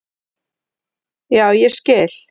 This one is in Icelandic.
Já, ég skil.